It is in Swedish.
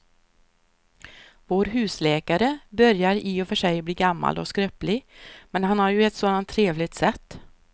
Vår husläkare börjar i och för sig bli gammal och skröplig, men han har ju ett sådant trevligt sätt!